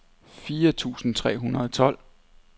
fire tusind tre hundrede og tolv